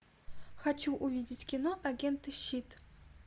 хочу увидеть кино агенты щит